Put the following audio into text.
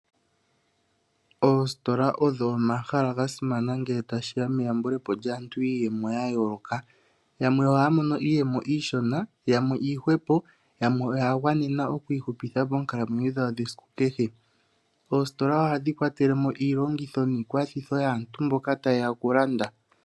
Oositola odho omahala gasimana ngele tashi ya meyambule po lyaantu yiiyemo yayooloka. Yamwe ohaya mono iiyemo iishona, yamwe iihwepo, yamwe oya gwanena okwiihupitha monkalamwenyo dhawo dhesiku kehe. Oositola ohadhi kwatele mo iilongitho niikwathitho yaantu mboka taye ya okulanda.